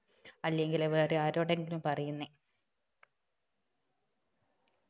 അല്ലങ്കില് വേറെ ആരോടെങ്കിലും പറയുന്നേ